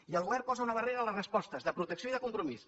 i el govern posa una barrera a les respostes de protecció i de compromís